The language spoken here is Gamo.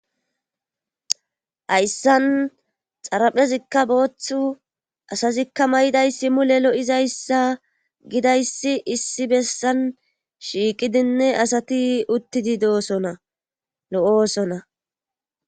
hayssan xaraphezikka booththu asazikka may7iday si mu le lo7izayssa gidayssi issi bessan shiiqidinne asati uttidi doosona lo7oosona.